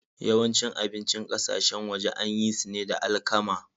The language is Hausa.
Yawancin abincin ƙasashen waje an yi su ne da alkama.